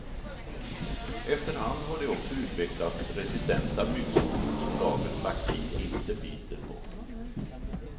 Efter hand har det också utvecklats resistenta myggsorter som dagens vaccin inte biter på.